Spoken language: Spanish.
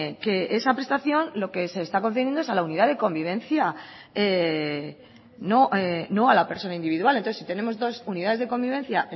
que esa prestación lo que se está concediendo es a la unidad de convivencia no a la persona individual entonces si tenemos dos unidades de convivencia